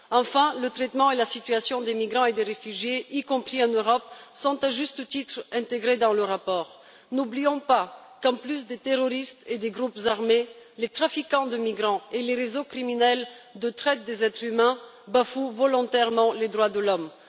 Enfin, le traitement et la situation des migrants et des réfugiés, y compris en Europe, sont à juste titre, intégrés dans le rapport. N'oublions pas qu'en plus des terroristes et des groupes armés, les trafiquants de migrants et les réseaux criminels de traite des êtres humains bafouent volontairement les droits de l'homme.